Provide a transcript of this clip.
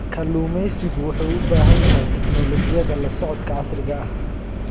Kalluumeysigu wuxuu u baahan yahay tignoolajiyada la socodka casriga ah.